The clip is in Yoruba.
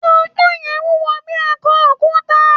Ponpon yen wúwo bí i akọ òkúta.